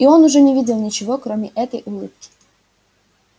и он уже не видел ничего кроме этой улыбки